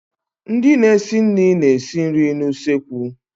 Ndị na-esi nri na-esi nri n'usekwu.